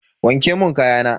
Wanke mun kayana.